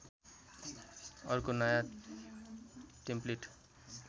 अर्को नयाँ टेम्प्लेट